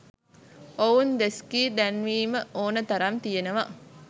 ඔවුන් දොස්කි දැන්වීම ඕන තරම් තියනවා.